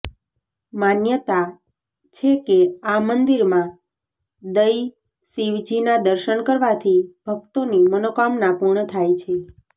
માન્યતા છે કે આ મંદિરમાં દઈ શિવજીના દર્શન કરવાથી ભક્તોની મનોકામના પૂર્ણ થાય છે